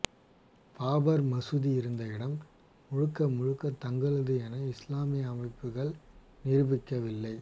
பாபர் மசூதி இருந்த இடம் முழுக்க முழுக்க தங்களது என இஸ்லாமிய அமைப்புக்கள் நிரூபிக்கவில்லை